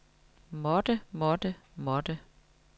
måtte måtte måtte